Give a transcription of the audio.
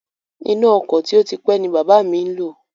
Iná ọkọ̀ tí ó ti pé ni bàbá mi ń lò